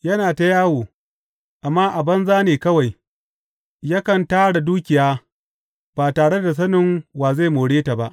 Yana ta yawo, amma a banza ne kawai; yakan tara dukiya, ba tare da sanin wa zai more ta ba.